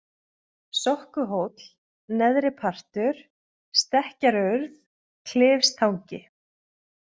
Sokkuhóll, Neðri-Partur, Stekkjarurð, Klifstangi